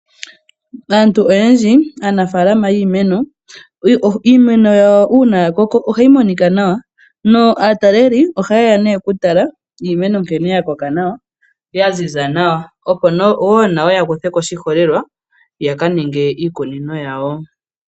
Aanafaalama oyendji yiimeno, uuna iimeno yawo ya koko ohayi monika nawa naatalelipo ohaye ya nduno okutala nkene iimeno ya koka nawa ya ziza nawa, opo wo nayo ya kuthe ko oshiholelwa ya ka ninge iikunino yawo.